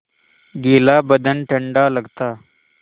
गीला बदन ठंडा लगता